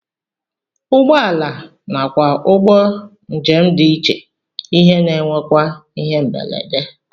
Ụgbọala nakwa ụgbọ njem dị iche ihe na-enwekwa ihe mberede